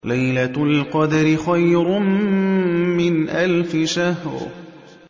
لَيْلَةُ الْقَدْرِ خَيْرٌ مِّنْ أَلْفِ شَهْرٍ